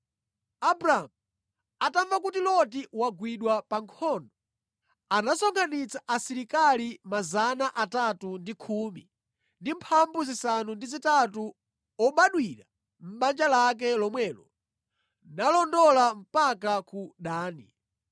Abramu atamva kuti Loti wagwidwa pa nkhondo, anasonkhanitsa asilikali 318 obadwira mʼbanja lake lomwelo nalondola mpaka ku Dani.